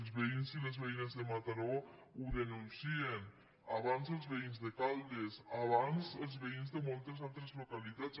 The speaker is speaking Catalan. els veïns i les veïnes de mataró ho denuncien abans els veïns de caldes abans els veïns de moltes altres localitats